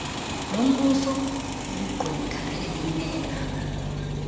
lombuso ligqwetha elimela